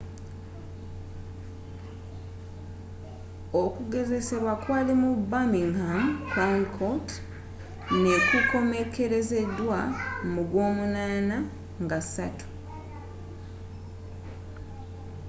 okugezesebbwa kwali mu birmingham crown court ne ku komekerezeddwa mu gw'omunana nga 3